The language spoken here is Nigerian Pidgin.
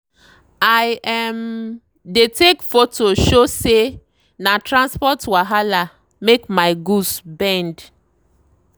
i um dey take photo show say na transport wahala make my goods bend.